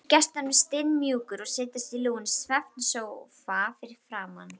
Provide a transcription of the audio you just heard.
Býður gestunum stimamjúkur að setjast í lúinn svefnsófa fyrir framan.